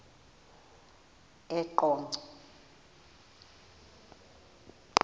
eqonco